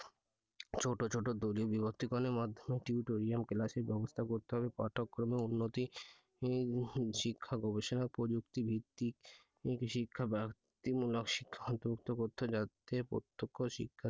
ছোট ছোট দলে বিভক্ত করেন এর মাধ্যমে tutorial class এর ব্যবস্থা করতে হবে পাঠ্যক্রমের উন্নতি উম শিক্ষা গবেষণার প্রযুক্তি ভিত্তিক যাতে প্রত্যক্ষ শিক্ষা